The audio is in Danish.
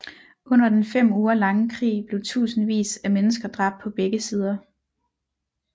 Under den fem uger lange krig blev tusindvis af mennesker dræbt på begge sider